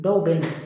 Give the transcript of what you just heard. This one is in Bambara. Dɔw bɛ na